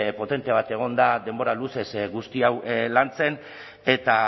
potente bat egon da denbora luzez guzti hau lantzen eta